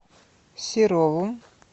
серову